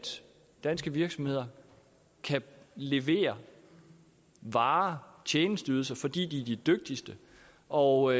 danske virksomheder kan levere varer og tjenesteydelser fordi de er de dygtigste og